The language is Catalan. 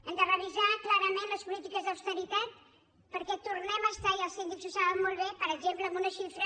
hem de revisar clarament les polítiques d’austeritat perquè tornem a estar i els síndics ho saben molt bé per exemple en una xifra